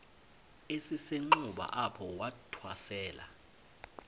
esisenxuba apho wathwasela